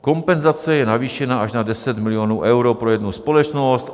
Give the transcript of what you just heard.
Kompenzace je navýšena až na 10 milionů euro pro jednu společnost.